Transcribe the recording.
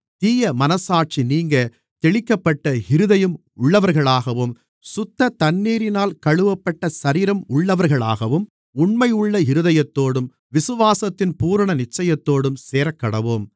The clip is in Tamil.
தீயமனச்சாட்சி நீங்கத் தெளிக்கப்பட்ட இருதயம் உள்ளவர்களாகவும் சுத்த தண்ணீரினால் கழுவப்பட்ட சரீரம் உள்ளவர்களாகவும் உண்மையுள்ள இருதயத்தோடும் விசுவாசத்தின் பூரண நிச்சயத்தோடும் சேரக்கடவோம்